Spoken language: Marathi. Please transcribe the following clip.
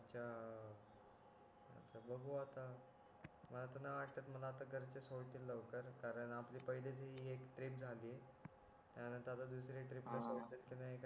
मला तर नाय वाटत मला आता घरचे सोडतील लवकर कारण आपली पाहिलीच झाली आहे त्या नंतर आता दुसरी ट्रिप कि नाय